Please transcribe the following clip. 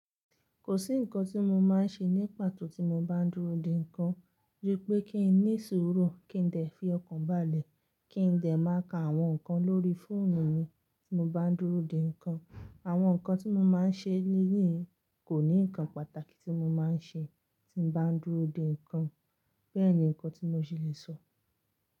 Kò sí ǹkan tí mo máa ń ṣe ní pàtó tí mo bá ń dúró de ǹkan. Dí pé kí n ní sùúrù, kí n dẹ̀ fi ọkàn bàlẹ̀, kí n dẹ̀ máa ka àwọn ǹkan lórí fóònù mi tí mo bá ń dúró de ǹkan. Àwọn ǹkan tí mo máa ń ṣe léleyi kò ní ǹkan pàtàkì tí mo máa ń ṣe tí bá ń dúró de ǹkan. Bẹ́ẹ̀ ni ǹkan tí mo ṣì lè sọ.